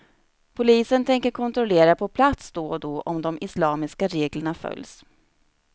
Polisen tänker kontrollera på plats då och då om de islamiska reglerna följs.